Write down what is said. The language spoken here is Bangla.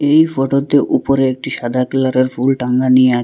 এই ফোটোতে উপরে একটি সাদা কালারের ফুল টাঙানি আ--